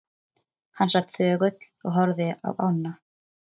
Hann sat þögull og horfði á ána.